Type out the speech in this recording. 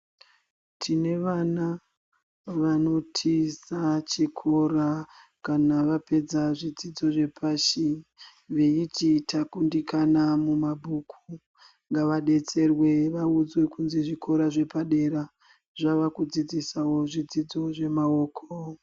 Tine vana vanotiza chikora kana vapedza zvidzidzo zvepashi, veiti takundikana mumabook, ngavadetserwe vaudzwe kuti zvikora zvepadera zvavakudziidzisa wo zvidzidzo zvemaoko.